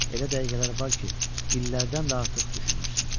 Elə dəqiqələr var ki, illərdən də artıq düşünürsən.